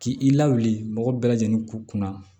K'i lawuli mɔgɔ bɛɛ lajɛlen kun na